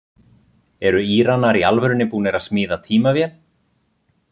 Eru Íranar í alvörunni búnir að smíða tímavél?